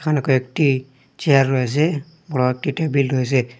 এখানে কয়েকটি চেয়ার রয়েসে বড় একটি টেবিল রয়েসে।